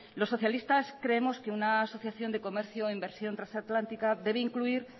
los socialistas creemos que una asociación de comercio e inversión trasatlántica debe incluir